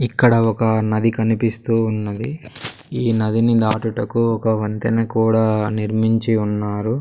ఇక్కడ ఒక నది కనిపిస్తూ ఉన్నది ఈ నదిని నాటుటకు ఒక వంతెన కూడా నిర్మించి ఉన్నారు.